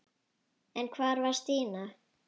En hvar var Stína?